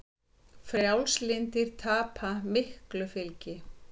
Frjálslyndir tapa miklu fylgi